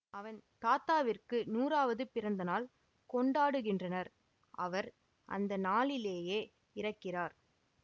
அவன் தாத்தாவிற்கு நூறாவது பிறந்தநாள் கொண்டாடுகின்றனர் அவர் அந்த நாளிலேயே இறக்கிறார்